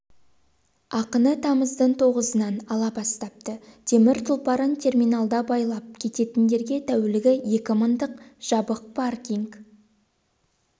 ақыны тамыздың тоғызынан ала бастапты темір тұлпарын терминалда байлап кететіндерге тәулігі екі мыңдық жабық паркинг